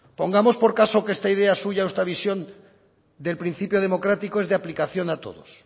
pongamos por caso que esta idea suya o esta visión del principio democrático es de aplicación a todos